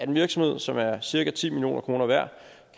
en virksomhed som er cirka ti million kroner værd